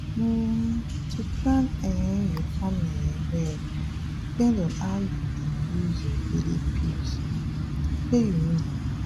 um to plan um your family um well depend on how you dey use your daily pills shey you know.